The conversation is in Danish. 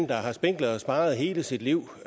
der har spinket og sparet hele sit liv